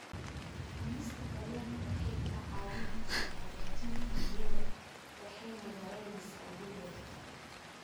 Cunista kalluunka waxay kaa caawin kartaa hagaajinta niyadda waxayna yaraynaysaa welwelka.